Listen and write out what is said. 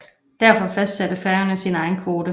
Derfor fastsatte Færøerne sin egen kvote